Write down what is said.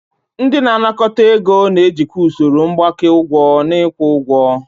Ndị na-anakọta ego na-ejikwa usoro mgbake ụgwọ na ịkwụ ụgwọ.